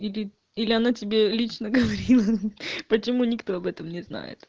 или или она тебе лично говорила почему никто об этом не знает